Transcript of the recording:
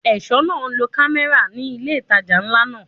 Ẹ̀ṣọ́ náà ń lo kámẹ́rà ní ilé ìtajà ńlá náà.